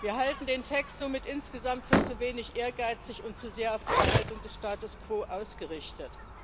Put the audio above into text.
Wir halten den Text somit insgesamt für zu wenig ehrgeizig und zu sehr auf die Erhaltung des Status quo ausgerichtet.